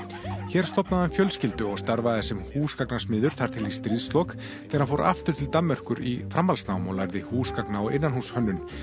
hér stofnaði hann fjölskyldu og starfaði sem húsgagnasmiður þar til í stríðslok þegar hann fór aftur til Danmerkur í framhaldsnám og lærði húsgagna og innanhússhönnun